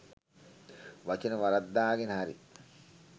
වචන වරද්දාගෙන හරි